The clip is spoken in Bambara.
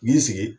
N'i sigi